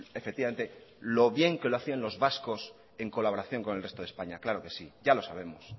efectivamente lo bien que lo hacían los vascos en colaboración con el resto de españa claro que sí ya lo sabemos